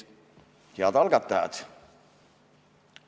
Head algatajad!